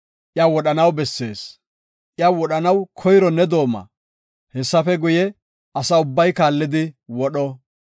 iya wodhanaw bessees. Iya wodhanaw koyro ne dooma; hessafe guye, asa ubbay kaallidi wodho.